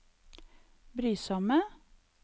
brysomme